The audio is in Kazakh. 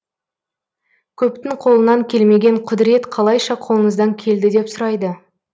көптің қолынан келмеген құдірет қалайша қолыңыздан келді деп сұрайды